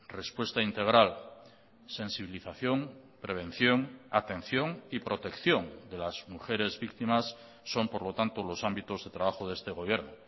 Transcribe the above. respuesta integral sensibilización prevención atención y protección de las mujeres víctimas son por lo tanto los ámbitos de trabajo de este gobierno